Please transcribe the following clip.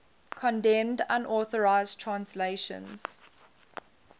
condemned unauthorized translations